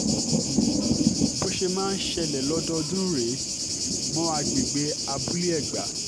um bó ṣe máa ń ṣẹlẹ̀ lọ́dọọdún rèé mọ́ agbègbè abúlé-ègbà